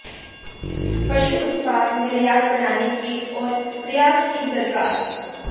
पशु उत्पाद निर्यात बढ़ाने के और प्रयास की दरकार